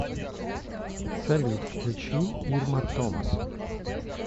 салют включи ирма томас